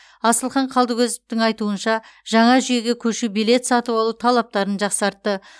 асылхан қалдыкозовтың айтуынша жаңа жүйеге көшу билет сатып алу талаптарын жақсартты